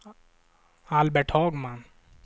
Albert Hagman